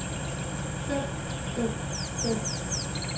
fem fem fem